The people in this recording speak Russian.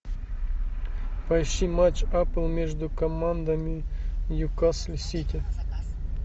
поищи матч апл между командами ньюкасл сити